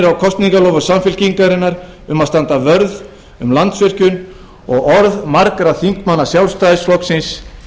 reynir á kosningaloforð samfylkingarinnar um að standa vörð um landsvirkjun og orð margra þingmanna sjálfstæðisflokksins